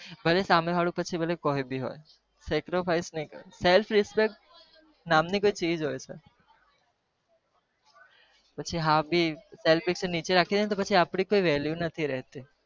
ભલે સામે વાળું ફી કય પણ હોય નતો પછી આપડી કોઈ વળ્યું નહી રહેતી